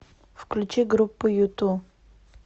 включи группу юту